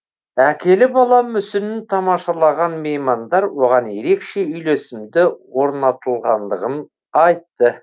әкелі бала мүсінін тамашалаған меймандар оған ерекше үйлесімді орнатылғандығын айтты